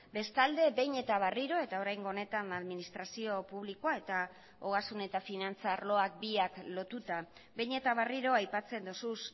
bestalde behin eta berriro eta oraingo honetan administrazio publikoa eta ogasun eta finantza arloak biak lotuta behin eta berriro aipatzen duzu